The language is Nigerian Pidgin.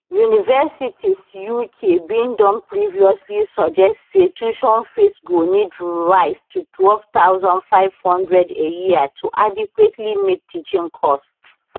universities uk bin don previously suggest say tuition fees go need rise to 12500 a year to adequately meet teaching costs